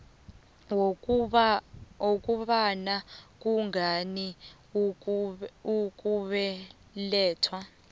wokobana kungani ukubelethwa